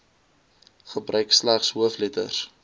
gebruik slegs hoofletters